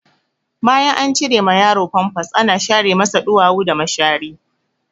Bayan an cire ma yaro famfas ana share masa ɗuwawu da mashari.